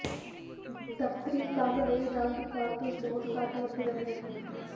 ਦਫਤਰੀ ਕੰਮ ਲਈ ਰੰਗ ਕਾਰਤੂਸ ਬਹੁਤ ਘੱਟ ਵਰਤੇ ਜਾਂਦੇ ਹਨ